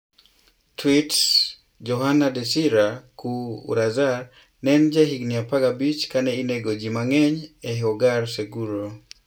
Tweets: Johana DesirĂ© Cuy UrĂzar ne en jahigini 15 kane inego ji mang'eny e Hogar Seguro.